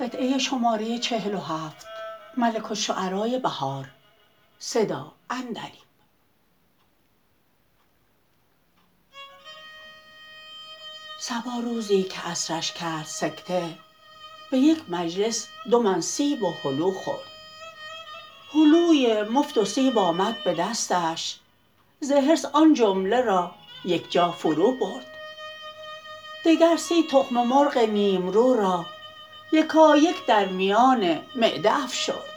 صبا روزی که عصرش کرد سکته به یک مجلس دو من سیب و هلو خورد هلوی مفت و سیب آمد به دستش ز حرص آن جمله را یکجا فرو برد دگر سی تخم مرغ نیم رو را یکایک در میان معده افشرد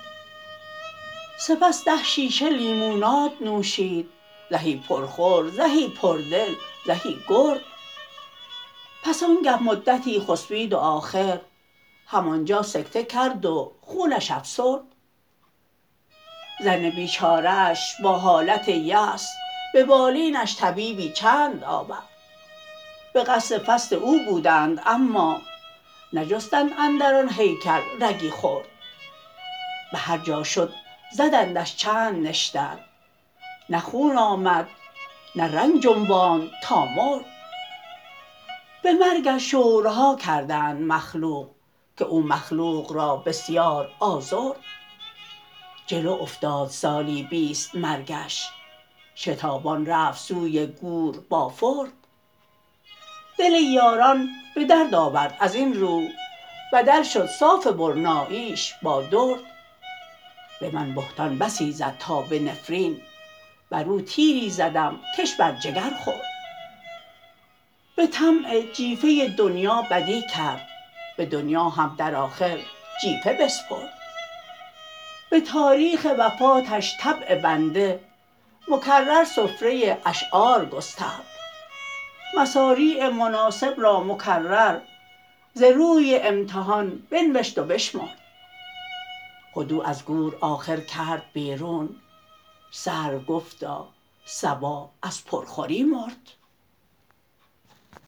سپس ده شیشه لیموناد نوشید زهی پرخور زهی پردل زهی گرد پس آنگه مدتی خسبید و آخر همان جا سکته کرد و خونش افسرد زن بیچاره اش با حالت یأس به بالینش طبیبی چند آورد به قصد فصد او بودند اما نجستند اندر آن هیکل رگی خرد به هرجا شد زدندش چند نشتر نه خون آمد نه رنگ جنباند تا مرد به مرگش شورها کردند مخلوق که او مخلوق را بسیار آزرد جلو افتاد سالی بیست مرگش شتابان رفت سوی گور بافرد دل یاران به درد آورد از این رو بدل شد صاف برناییش با درد به من بهتان بسی زد تا به نفرین بر او تیری زدم کش بر جگر خورد به طمع جیفه دنیا بدی کرد به دنیا هم در آخر جیفه بسپرد به تاریخ وفاتش طبع بنده مکرر سفره اشعار گسترد مصاریع مناسب را مکرر ز روی امتحان بنوشت و بشمرد خود او از گور آخر کرد بیرون سر و گفتا صبا از پرخوری مرد